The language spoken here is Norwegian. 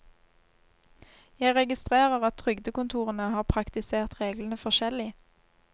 Jeg registrerer at trygdekontorene har praktisert reglene forskjellig.